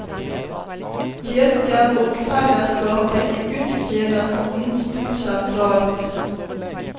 Kirken og fellesskapet i gudstjenesten sto sentralt.